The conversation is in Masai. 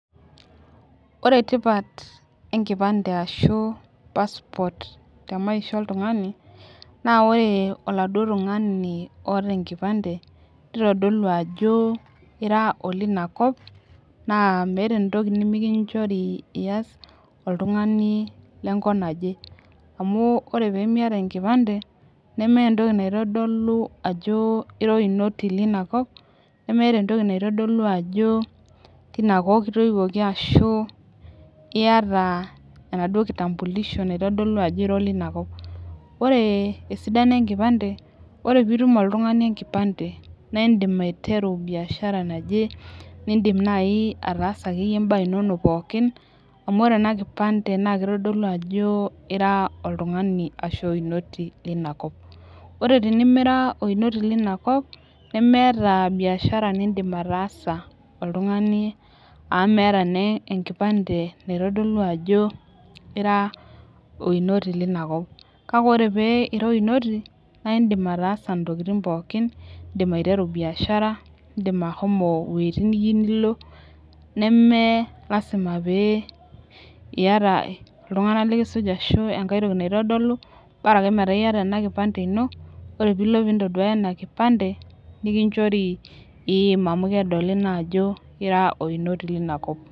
Ore tipat enkipande ashu passport te maisha oltungani naa ore oladuoo tungani oota enkipande, nitodolu ajo ira oleina kop .naa meeta entoki nimikichori ias oltungani le nkop naje. amu ore pee Miata enkipande, nemeeta entoki naitodolu ajo ira oinoti. teina kop kitoiwuoki ashu iyata enaduoo kitambulisho naitodolu ajo ira oleina kop. ore esidano enkipande, ore pee itum oltungani enkipande, naa idim aiteru biashara naje nidim ataasa imbaa inonok pookin. amu ore ena kipande naa kitodolu ajo ira oltungani ashu oinoti lina kop ore tenimira oinoti leina kop. memeeta biashara nidim ataasa oltungani .amu meeta naa enkipande naitodolu ajo ira oinoto leina kop. kake ore pee ira oinoto naa idim ataasa ntokitin pookin. idim aiteru biashara. idim ashomo iwuejitin niyieu nilo. neme lasima pee iyata iltunganak likisuj ashu enkae toki naitodolu bora ake metaa iyata ena kipande ino. ore pee ilo pee intoduaya ena kipande nikinchori iim amu kedoli naa ajo ira oinoto leina kop.